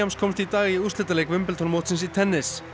komst í dag í úrslitaleik Wimbledon mótsins í tennis